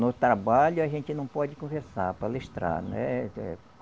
No trabalho a gente não pode conversar, palestrar, né? Eh